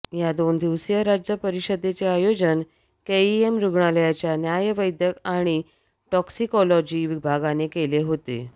या दोन दिवसीय राज्य परिषदेचे आयोजन केईएम रुग्णालयाच्या न्यायवैद्यक आणि टॉक्सिकोलॉजी विभागाने केले होते